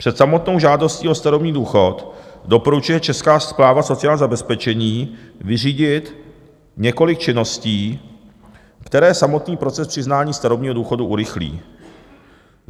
Před samotnou žádostí o starobní důchod doporučuje Česká správa sociální zabezpečení vyřídit několik činností, které samotný proces přiznání starobního důchodu urychlí.